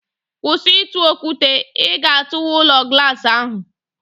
Kwụsị ịtụ okwute, ị ga-atụwa ụlọ glaasị ahụ!